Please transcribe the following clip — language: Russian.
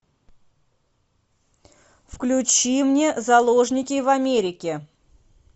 включи мне заложники в америке